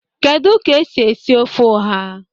Kedu ka esi esi ofe oha?